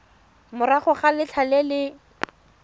morago ga letlha le le